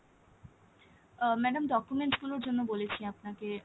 আহ madam documents গুলোর জন্য বলেছি আপনাকে।